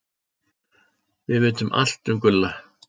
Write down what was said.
Við vitum allt um Gulla.